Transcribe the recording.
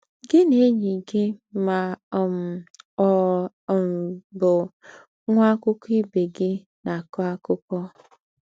Gị̀ na ényì gị mà um ọ́ um bụ̀ nwà àkụ́kọ̀ ìbè gị ná-àkọ́ àkúkò.